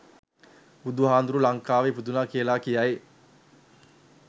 බුදු හාමුදුරුවෝ ලංකාවේ ඉපදුනා කියල කියයි.